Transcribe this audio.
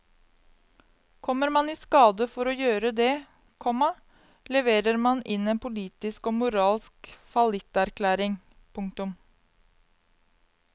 Kommer man i skade for å gjøre det, komma leverer man inn en politisk og moralsk fallitterklæring. punktum